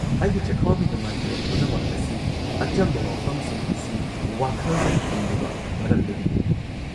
ꯑꯩꯒꯤ ꯆꯈꯥꯎꯒꯤ ꯅꯨꯡꯉꯥꯏꯇꯕ ꯄꯨꯝꯅꯃꯛ ꯑꯁꯤ ꯑꯆꯝꯕ ꯋꯥꯐꯝꯁꯤꯡ ꯑꯁꯤ ꯋꯥꯈꯜꯗ ꯊꯝꯗꯕ ꯃꯔꯝꯗꯒꯤꯅꯤ꯫